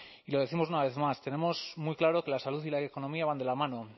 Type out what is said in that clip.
y lo décimos una vez más tenemos muy claro que la salud y la economía van de la mano